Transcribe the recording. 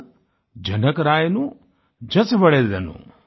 पेन्निंदा जनकरायनु जासुवालेंदनु